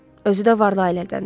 Özü də varlı ailədəndir.